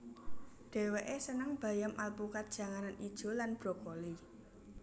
Dheweke seneng bayam alpukat janganan ijo lan brokoli